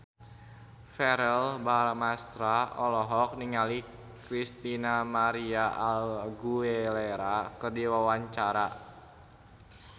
Verrell Bramastra olohok ningali Christina María Aguilera keur diwawancara